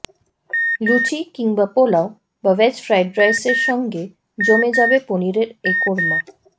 লুচি কিংবা পোলাও বা veg fried রাইসের সঙ্গে জমে যাবে পনিরের এই কোর্মা